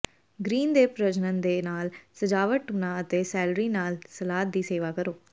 green ਦੇ ਪ੍ਰਜਨਨ ਦੇ ਨਾਲ ਸਜਾਵਟ ਟੁਨਾ ਅਤੇ ਸੈਲਰੀ ਨਾਲ ਸਲਾਦ ਦੀ ਸੇਵਾ ਕਰੋ